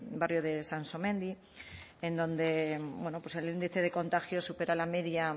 barrio de sansomendi en donde bueno pues el índice de contagios supera la media